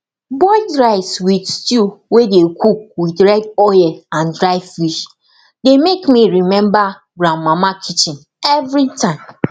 boiled rice with stew wey dey cook with red oil and dry fish dey make me remember grandmama kitchen everytime